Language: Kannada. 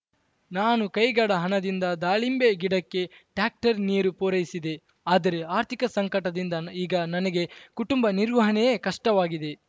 ನಾನು ಕೈಗಡ ಹಣದಿಂದ ದಾಳಿಂಬೆ ಗಿಡಕ್ಕೆ ಟ್ಯಾಕ್ಟರ್ ನೀರು ಪೂರೈಸಿದೆ ಆದರೆ ಆರ್ಥಿಕ ಸಂಕಟದಿಂದ ನ ಈಗ ನನಗೆ ಕುಟುಂಬ ನಿರ್ವಹಣೆಯೇ ಕಷ್ಟವಾಗಿದೆ